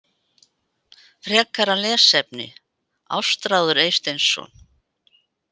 Frekara lesefni: Ástráður Eysteinsson.